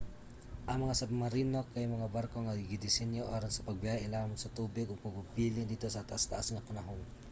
ang mga submarino kay mga barko nga gidisenyo aron sa pagbiyahe ilawom sa tubig ug magpabilin didto sa taas-taas nga panahon